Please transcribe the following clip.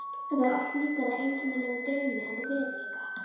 Þetta var allt líkara einkennilegum draumi en veruleika.